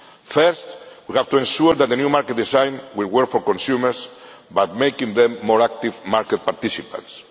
First, we have to ensure that the new market design will work for consumers by making them more active market participants.